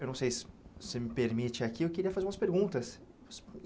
Eu não sei se se você me permite aqui, eu queria fazer umas perguntas.